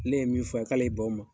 Ne ye min fɔ a ye, k'ale y'i ban o ma.